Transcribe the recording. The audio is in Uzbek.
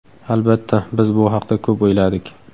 Albatta, biz bu haqda ko‘p o‘yladik.